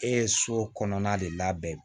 E ye so kɔnɔna de labɛn